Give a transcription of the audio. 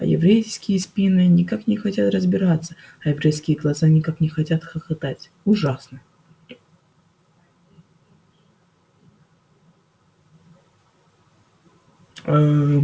а еврейские спины никак не хотят разгибаться а еврейские глаза никак не хотят хохотать ужасно